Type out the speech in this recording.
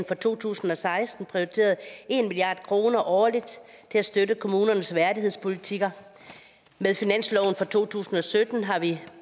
for to tusind og seksten prioriteret en milliard kroner årligt til at støtte kommunernes værdighedspolitikker og med finansloven for to tusind og sytten har vi